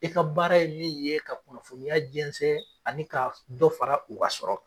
E ka baara ye min ye ka kunnafoniya jɛnsɛn ani ka dɔ fara u ka sɔrɔ